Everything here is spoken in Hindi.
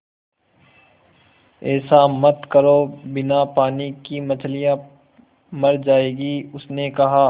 ऐसा मत करो बिना पानी के मछलियाँ मर जाएँगी उसने कहा